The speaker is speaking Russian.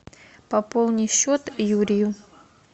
пополни счет юрию